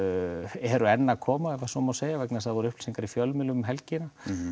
eru enn að koma ef svo má segja vegna þess að það voru upplýsingar í fjölmiðlum um helgina